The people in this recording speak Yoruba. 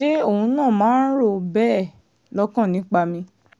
àṣé òun náà máa ń rò ó bẹ́ẹ̀ lọ́kàn nípa mi